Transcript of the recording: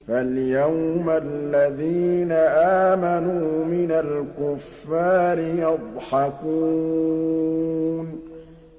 فَالْيَوْمَ الَّذِينَ آمَنُوا مِنَ الْكُفَّارِ يَضْحَكُونَ